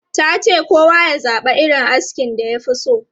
Ta ce kowa ya zaba irin askin da ya fi so.